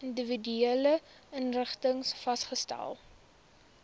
individuele inrigtings vasgestel